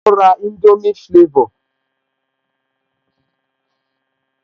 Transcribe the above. Ó ra indomie flavor